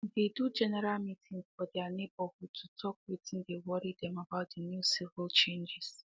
they do general meetings for their neighborhood to talk wetin dey worry them about the new civic changes